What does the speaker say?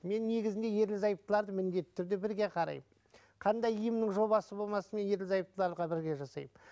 мен негізінде ерлі зайыптыларды міндетті түрде бірге қараймын қандай емнің жобасы болмасын мен ерлі зайыптыларға бірге жасаймын